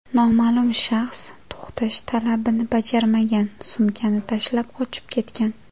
Noma’lum shaxs to‘xtash talabini bajarmagan, sumkani tashlab, qochib ketgan.